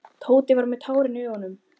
Tóti var með tárin í augunum.